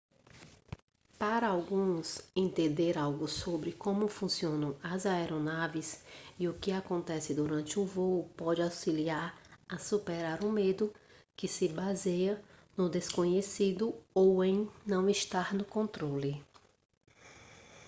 para alguns entender algo sobre como funcionam as aeronaves e o que acontece durante um voo pode auxiliar a superar o medo que se baseia no desconhecido ou em não estar no controle